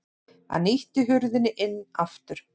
Hann ýtti hurðinni inn aftur.